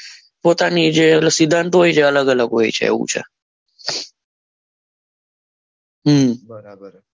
પોતાની જે સ્ટુડન્ટ હોય છે અલગ અલગ હોય છે એવું હોય છે બરાબર